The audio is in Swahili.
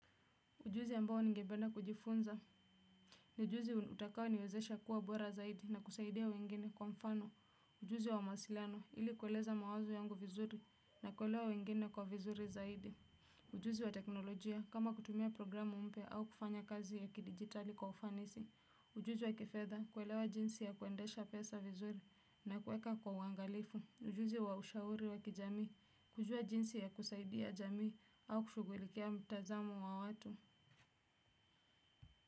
Ujuzi ambao nigependa kujifunza. Ni ujuzi utakao niwezesha kuwa bora zaidi na kusaidia wengine kwa mfano. Ujuzi wa mawasilano ili kueleza mawazo yangu vizuri na kuelewa wengine kwa vizuri zaidi. Ujuzi wa teknolojia kama kutumia programu mpya au kufanya kazi ya kidijitali kwa ufanisi. Ujuzi wa kifedha kuelewa jinsi ya kuendesha pesa vizuri na kuweka kwa uangalifu. Ujuzi wa ushauri wa kijami kujua jinsi ya kusaidia jamii au kushughulikia mtazamo wa watu.